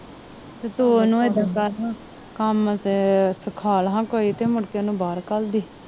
ਤੂੰ ਉਹਨੂੰ ਏਦਾ ਕਰ ਹਾਂ ਕੰਮ ਸਿਖਾਲ਼ ਹਾਂ ਕੋਈ ਤੇ ਮੁੜਕੇ ਉਹਨੂੰ ਬਹਾਰ ਕਾਲ ਦੀ